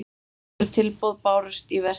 Fjögur tilboð bárust í verkið.